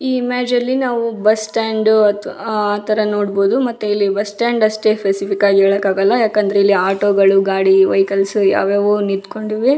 ಈ ಇಮೇಜ್ ಅಲ್ಲಿ ನಾವು ಬಸ್ ಸ್ಟಾಂಡ್ ಅತ್ ಆತರ ನೋಡ್ಬೋದು ಮತ್ತೆ ಬಸ್ ಸ್ಟಾಂಡ್ ಅಷ್ಟೇ ಸ್ಪೆಸಿಫಿಕ್ ಆಗಿ ಹೇಳಕ್ಕಾಗಲ್ಲ ಯಾಕಂದ್ರೆ ಇಲ್ಲಿ ಆಟೋ ಗಳು ಗಾಡಿ ವೆಹಿಕಲ್ಸ್ ಯಾವ್ಯಾವೋ ನಿತ್ಕೊಂಡಿವೆ .